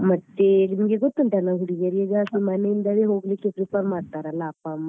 ಮತ್ತೆ ನಿಮ್ಗೆ ಗೊತ್ತುoಟಲ್ಲಾ ಹುಡ್ಗಿರು ಈಗ ಮನೆ ಇಂದಾನೆ ಹೋಗ್ಲಿಕ್ಕೆ prefer ಮಾಡ್ತಾರಲ್ಲ ಅಪ್ಪ ಅಮ್ಮ.